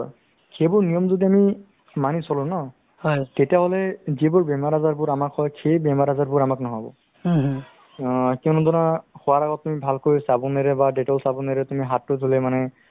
আ আপোনাৰ এদ ~ এ ~ এজ ~ এ ~ ইং ~ এ example হিচাপে মই যদি দিব যাও তেতিয়াহ'লে আজিকালি ধৰক বয়সস্থ মানুহবোৰ অ বোৰৰ প্ৰায় মানুহে আপোনাৰ sugar বা ডায় অ sugar বা high pressure বা কিবা অ heart attack বা